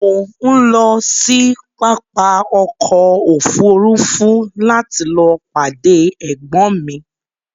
Mo ń lọ sí pápá ọkọ òfúrúúfú láti lọọ pàdé ẹ̀gbọ́n mi